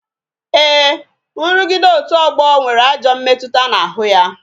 Ee, nrugide otu ọgbọ nwere ajọ mmetụta n'ahụ ya